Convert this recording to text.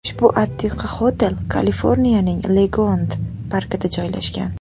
Ushbu antiqa otel Kaliforniyaning Legolend parkida joylashgan.